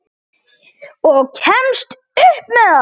Og kemst upp með það!